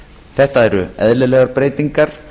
þetta eru eðlilegar breytingar